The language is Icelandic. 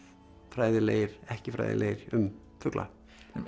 fræðilegir ekki fræðilegir um fugla